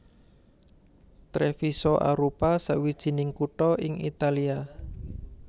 Treviso arupa sawijining kutha ing Italia